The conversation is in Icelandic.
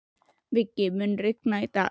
Viggi, mun rigna í dag?